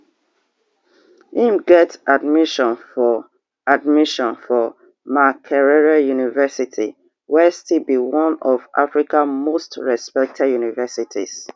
im get admission for admission for makerere university wey still be one of africa most respected universities